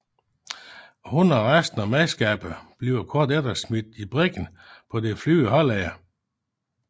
Hun og resten af mandskabet bliver kort efter smidt i briggen på Den Flyvende Hollænder